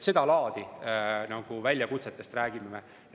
Seda laadi väljakutsetest räägime.